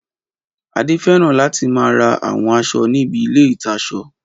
Adé fẹ́ràn láti máa ra àwọn aṣọ níbi ilé-ìtaṣọ